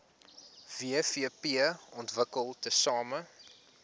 wvp ontwikkel tesame